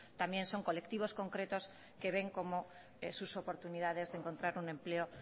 también son colectivos concretos que ven como sus oportunidades de encontrar un empleo